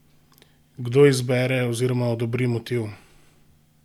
Kdo izbere oziroma odobri motiv?